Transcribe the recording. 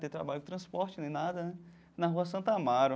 Ter trabalho de transporte nem nada né, na Rua Santa Amaro.